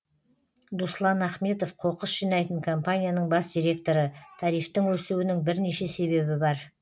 дуслан ахметов қоқыс жинайтын компанияның бас директоры тарифтің өсуінің бірнеше себебі бар